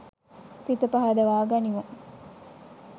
සිත පහදවා ගනිමු.